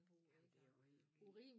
Jamen det jo helt vildt